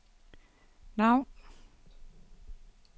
navn